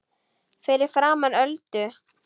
Fyrir framan Öldu.